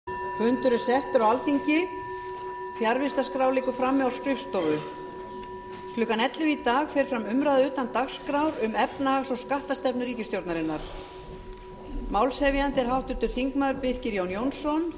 klukkan ellefu í dag fer fram umræða utan dagskrár um efnahags og skattastefnu ríkisstjórnarinnar málshefjandi er háttvirtur þingmaður birkir jón jónsson